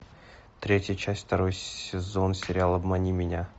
третья часть второй сезон сериала обмани меня